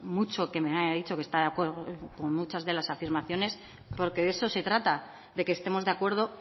mucho que me haya dicho que está de acuerdo con muchas de las afirmaciones porque de eso se trata de que estemos de acuerdo